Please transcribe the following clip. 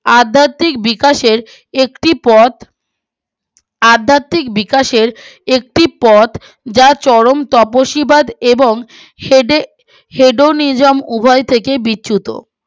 আধ্যাত্বিক বিকাশের একটি পথ আধ্যাত্বিক বিকাশের একটি পথ যা চরম তপসীবাদ এবং উভয় ঠিক বিচ্যুত